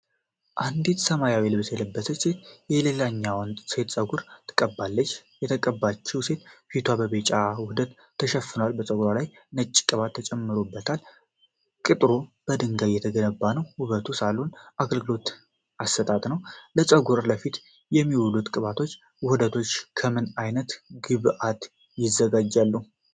አንዲት ሰማያዊ ልብስ የለበሰች ሴት የሌላኛዋን ሴት ፀጉር ትቀባለች። የተቀባችው ሴት ፊቷ በቢጫ ውህድ ተሸፍኗል። በፀጉሯ ላይ ነጭ ቅባት ተጨምሮበታል። ቅጥሩ በድንጋይ የተገነባ ነው። የውበት ሳሎን አገልግሎት አሰጣጥ ነው። ለፀጉርና ለፊት የሚውሉት ቅባቶችና ውህዶች ከምን ዓይነት ግብዓቶች ይዘጋጃሉ?